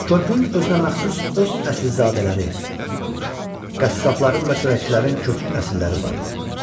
Körpünün özünəməxsus öz əsilzadələri, qəssabların və çörəkçilərin köklü nəsilləri vardı.